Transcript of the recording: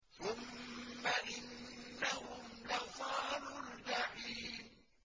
ثُمَّ إِنَّهُمْ لَصَالُو الْجَحِيمِ